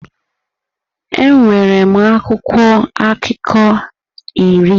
Enwere m akwụkwọ akụkọ iri.